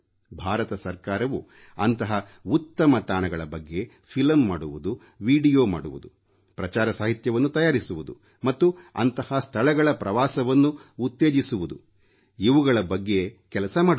ಭಾರತ ಸರ್ಕಾರವು ಅಂತಹ ಉತ್ತಮ ತಾಣಗಳ ಬಗ್ಗೆ ಫಿಲಂ ಮಾಡುವುದು ವೀಡಿಯೊ ಮಾಡುವುದು ಪ್ರಚಾರ ಸಾಹಿತ್ಯವನ್ನು ತಯಾರಿಸುವುದು ಮತ್ತು ಅಂತಹ ಸ್ಥಳಗಳ ಪ್ರವಾಸವನ್ನು ಉತ್ತೇಜಿಸುವುದು ಇವುಗಳ ಬಗ್ಗೆ ಕೆಲಸ ಮಾಡುತ್ತದೆ